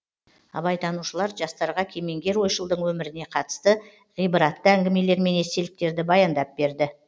абайтанушылар жастарға кемеңгер ойшылдың өміріне қатысты ғибратты әңгімелер мен естеліктерді баяндап берді